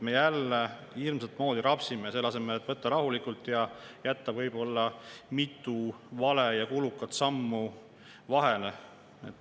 Me jälle hirmsat moodi rapsime, selle asemel et võtta rahulikult ja jätta mitu valet ja kulukat sammu vahele.